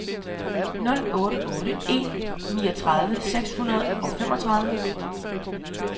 nul otte otte en niogtredive seks hundrede og femogtredive